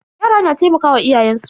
Yara na taimakawa iyayen su.